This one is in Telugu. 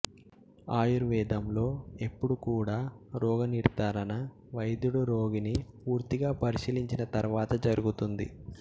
ఆయుర్వేదంలో ఎప్పుడూ కూడా రోగ నిర్ధారణ వైద్యుడు రోగిని పూర్తిగా పరశీలించిన తర్వాత జరుగుతుంది